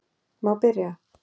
Má byrja?